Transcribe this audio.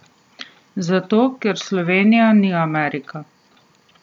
Zato, ker Slovenija ni Amerika.